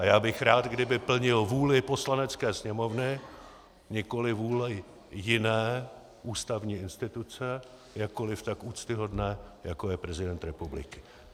A já bych rád, kdyby plnil vůli Poslanecké sněmovny, nikoliv vůli jiné ústavní instituce, jakkoliv tak úctyhodné, jako je prezident republiky.